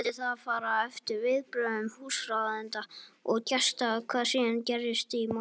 Svo mundi það fara eftir viðbrögðum húsráðenda og gesta hvað síðan gerist í málinu.